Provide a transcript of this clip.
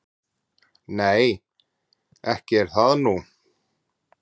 """Nei, ekki er það nú."""